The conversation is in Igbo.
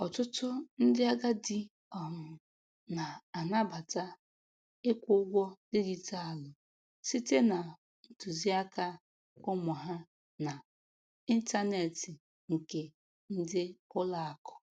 Ọtụtụ ndị agadi um na-anabata ịkwụ ụgwọ dijitalụ site na ntuziaka ụmụ ha na intaneeti nke ndi ulo aku